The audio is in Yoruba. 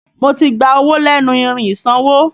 Mo ti gba owó lẹ́nu irin ìsanwó